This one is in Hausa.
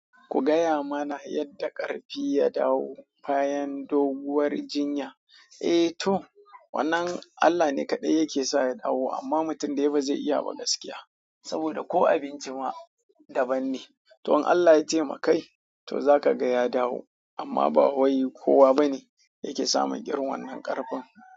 Ku gaya mana yadda ƙarfi ya dawo bayan doguwar jinya? Eh to, wannan Allah ne kaɗai yake sa ya dawo amma mutum dai ba zai iya ba gaskiya saboda ko abincin ma daban ne. To in allah ya taimakai zaka ga ya dawo amma ba kowa bane take samun irin wannan karfin.